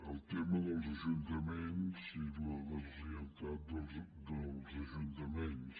el tema dels ajuntaments i la deslleialtat dels ajuntaments